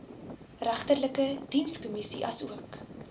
regterlike dienskommissie asook